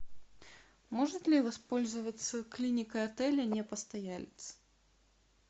может ли воспользоваться клиникой отеля не постоялец